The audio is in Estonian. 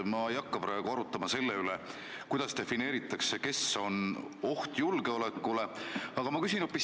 Ma ei hakka praegu korrutama seda, kuidas defineeritakse, kes on oht julgeolekule.